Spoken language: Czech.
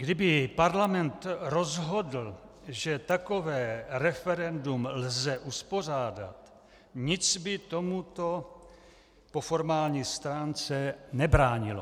Kdyby parlament rozhodl, že takové referendum lze uspořádat, nic by tomuto po formální stránce nebránilo.